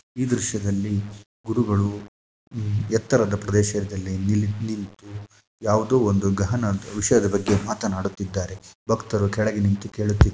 ಈ ದೃಶ್ಯದಲ್ಲಿ ಗುರುಗಳು ಎತ್ತರದ ಪ್ರದೇಶದಲ್ಲಿ ನಿಂತು ಯಾವುದೋ ಒಂದು ಘಹನ್ ವಿಷಯದ ಬಗ್ಗೆ ಮಾತನಾಡುತ್ತಿದ್ದಾರೆ ಭಕ್ತರು ಕೆಳಗೆ ನಿಂತು ಕೇಳುತ್ತಿದ್ದಾರೆ .